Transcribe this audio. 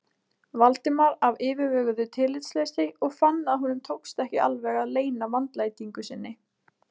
Valdimar af yfirveguðu tillitsleysi og fann að honum tókst ekki alveg að leyna vandlætingu sinni.